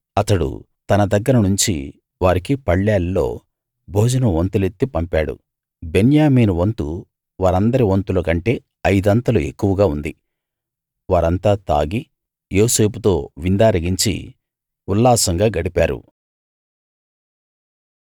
అతడు తన దగ్గర నుంచి వారికి పళ్ళేల్లో భోజనం వంతులెత్తి పంపాడు బెన్యామీను వంతు వారందరి వంతులకంటే అయిదంతలు ఎక్కువగా ఉంది వారంతా తాగి యోసేపుతో విందారగించి ఉల్లాసంగా గడిపారు